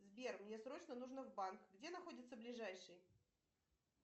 сбер мне срочно нужно в банк где находится ближайший